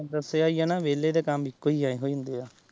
ਦੱਸਿਆ ਏ ਨਾ ਵਿਹਲੇ ਤੇ ਇੱਕੋ ਹੀ ਇਹੋ ਹੁੰਦੇ ਏ।